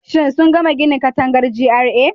Shin sun gama gina katangar GRA?